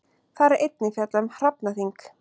Þar er einnig fjallað um hrafnaþing.